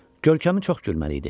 Görkəmi çox gülməli idi.